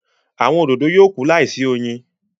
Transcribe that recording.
Awọn òdodo yóò kú láìsí oyin